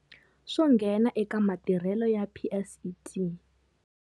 Swo nghena eka matirhelo ya PSET?